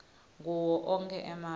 kuwo onkhe emave